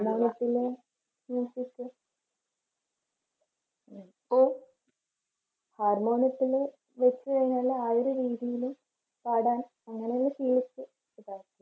harmonium യത്തില് പാടാൻ